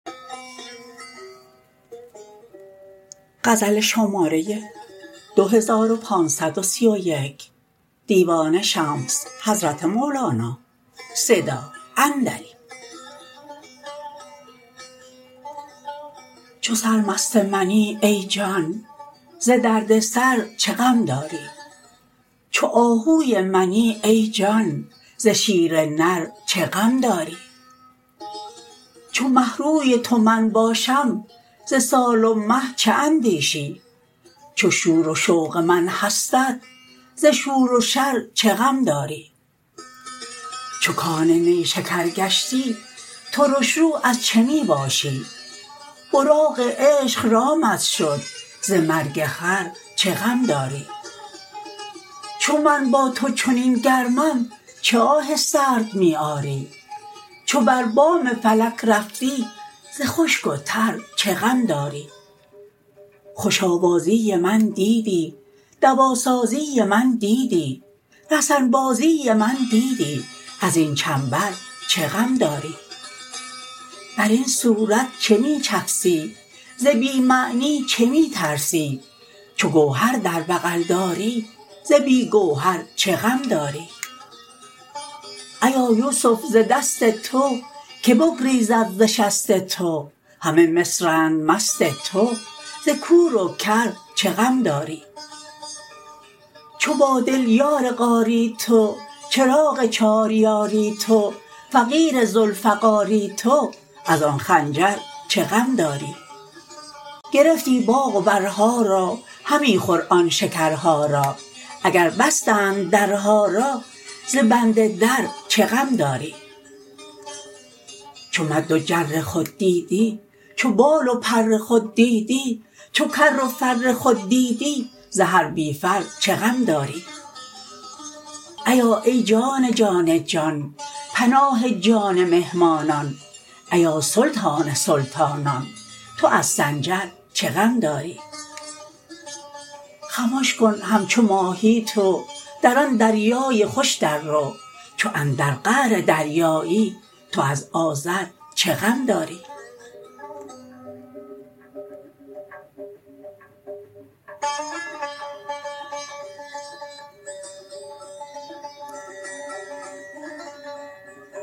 چو سرمست منی ای جان ز درد سر چه غم داری چو آهوی منی ای جان ز شیر نر چه غم داری چو مه روی تو من باشم ز سال و مه چه اندیشی چو شور و شوق من هستت ز شور و شر چه غم داری چو کان نیشکر گشتی ترش رو از چه می باشی براق عشق رامت شد ز مرگ خر چه غم داری چو من با تو چنین گرمم چه آه سرد می آری چو بر بام فلک رفتی ز خشک و تر چه غم داری خوش آوازی من دیدی دواسازی من دیدی رسن بازی من دیدی از این چنبر چه غم داری بر این صورت چه می چفسی ز بی معنی چه می ترسی چو گوهر در بغل داری ز بی گوهر چه غم داری ایا یوسف ز دست تو که بگریزد ز شست تو همه مصرند مست تو ز کور و کر چه غم داری چو با دل یار غاری تو چراغ چار یاری تو فقیر ذوالفقاری تو از آن خنجر چه غم داری گرفتی باغ و برها را همی خور آن شکرها را اگر بستند درها را ز بند در چه غم داری چو مد و جر خود دیدی چو بال و پر خود دیدی چو کر و فر خود دیدی ز هر بی فر چه غم داری ایا ای جان جان جان پناه جان مهمانان ایا سلطان سلطانان تو از سنجر چه غم داری خمش کن همچو ماهی تو در آن دریای خوش دررو چو اندر قعر دریایی تو از آذر چه غم داری